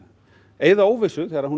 eyða óvissu þegar hún